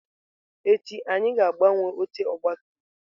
Echi anyị ga-agbanwe oche ọgabtumtum.